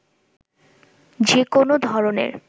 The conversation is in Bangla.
যে কোনো ধরনের